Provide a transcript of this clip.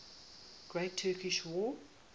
great turkish war